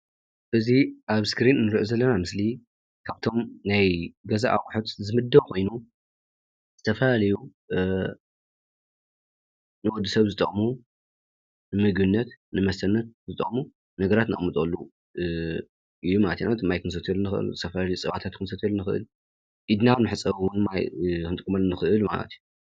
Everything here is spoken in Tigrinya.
እዚ ኣብ እስክሪን እንሪኦ ዘለና ስምሊ ካብቶም ናይ ገዛ ኣቁሑት ዝምደብ ኮይኑ ዝተፈላለዩ ንወዲ ሰብ ዝጠቅሙ ንምግብነት ንመስተነት ዝጠቅሙ ነገራት እነቅምጠሉ ማለት እዩ፡፡ ማይ ክንሰትየሉ ንክእል ዝተፈላለዩ ክንሰርሐሉ እንክእል ኢድና ማይ እውን ክንሕፀበሉ ክንጥቀመሉ ንክእል ማለት እዩ፡፡